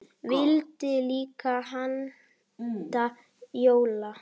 Vildu líka halda jól.